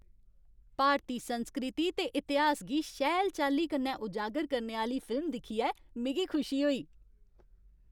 भारती संस्कृति ते इतिहास गी शैल चाल्ली कन्नै उजागर करने आह्‌ली फिल्म दिक्खियै मिगी खुशी होई।